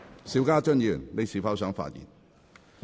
邵家臻議員，你是否想發言？